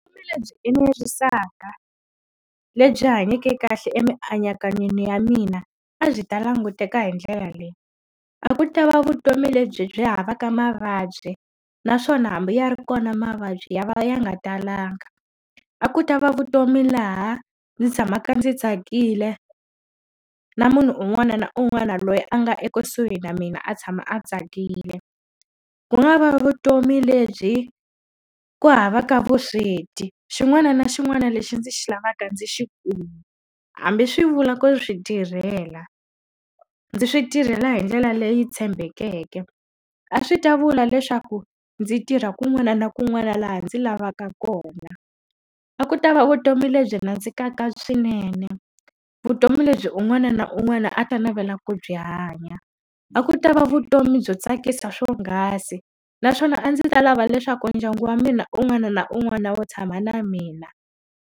Vutomi lebyi enerisaka ni lebyi hanyake kahle emianakanyweni ya mina, a byi ta languteka hi ndlela leyi. A ku ta va vutomi lebyi byi havaka mavabyi, naswona hambi ya ri kona mavabyi ya va ya nga talanga. A ku ta va vutomi laha ndzi tshamaka ndzi tsakile, na munhu un'wana na un'wana loyi a nga ekusuhi na mina a tshama a tsakile. Ku nga va vutomi lebyi ku havaka vusweti, xin'wana na xin'wana lexi ndzi xi lavaka ndzi xi kuma. Hambi swi vula ku swi tirhela, ndzi swi tirhela hindlela leyi tshembekeke. A swi ta vula leswaku ndzi tirha kun'wana na kun'wana laha ndzi lavaka kona. A ku ta va vutomi lebyi nandzikaka swinene, vutomi lebyi un'wana na un'wana a ta navela ku byi hanya. A ku ta va vutomi byo tsakisa swonghasi, naswona a ndzi ta lava leswaku ndyangu wa mina un'wana na un'wana wu tshama na mina.